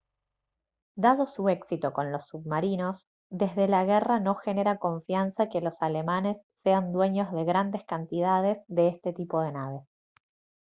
dado su éxito con los submarinos desde la guerra no genera confianza que los alemanes sean dueños de grandes cantidades de este tipo de naves